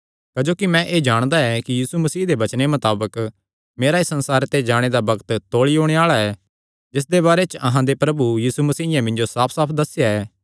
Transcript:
क्जोकि मैं एह़ जाणदा ऐ कि यीशु मसीह दे वचने मताबक मेरा इस संसारे ते जाणे दा बग्त तौल़ी ओणे आल़ा ऐ जिसदे बारे च अहां दे प्रभु यीशु मसीयें मिन्जो साफसाफ दस्सेया ऐ